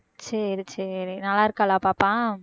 சரி சரி நல்லா இருக்காளா பாப்பா